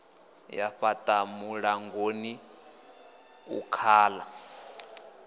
ya fhaḽa muṋangoni u khaḓa